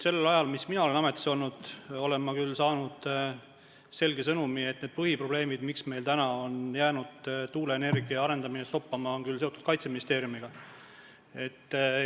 Sellel ajal, mis mina olen ametis olnud, olen ma küll saanud selge sõnumi, et need põhiprobleemid, miks meil on jäänud tuuleenergia arendamine stoppama, on seotud Kaitseministeeriumiga.